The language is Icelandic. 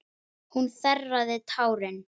Hún þerraði tárin.